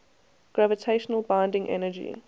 gravitational binding energy